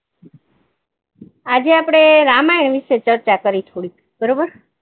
આજે આપણે રામાયણ વિશે ચર્ચા કરીશું